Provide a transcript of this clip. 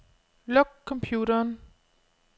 Luk computeren.